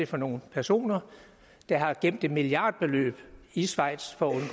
for nogle personer der har gemt milliardbeløb i schweiz for